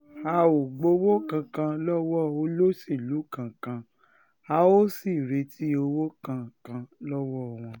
a ò um gbowó kankan lọ́wọ́ olóṣèlú kankan a um ò sì retí owó kankan lọ́wọ́ wọn